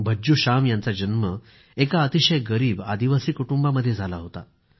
भज्जू श्याम यांचा जन्म एका अतिशय गरीब आदिवासी कुटुंबामध्ये झाला होता